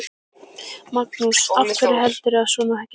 Magnús: Af hverju heldurðu að svona gerist?